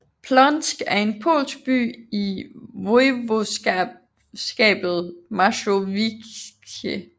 Płońsk er en polsk by i voivodskabet Mazowieckie